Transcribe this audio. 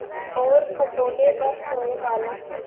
और खटोले पर सोए बालक की